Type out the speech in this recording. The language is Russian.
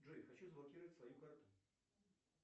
джой хочу заблокировать свою карту